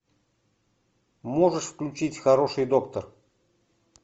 можешь включить хороший доктор